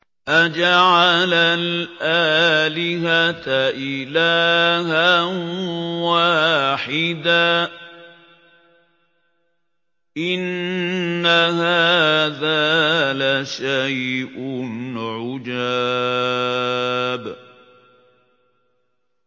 أَجَعَلَ الْآلِهَةَ إِلَٰهًا وَاحِدًا ۖ إِنَّ هَٰذَا لَشَيْءٌ عُجَابٌ